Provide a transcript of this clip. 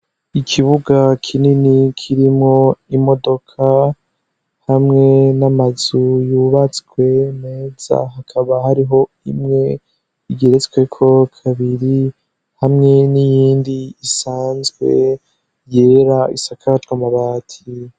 Ikibuga kinini kirimwo imodoka hamwe n'amazu yubatswe meza, hakaba hariho imwe igeretsweko kabiri hamwe n'iyindi isanzwe yera isakajwe amabati.